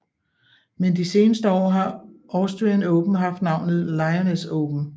Men de seneste år har Austrian Open haft navnet Lyoness Open